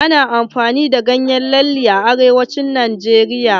Ana amfani da ganyen lalle a arewacin najeriya.